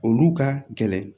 Olu ka gɛlɛn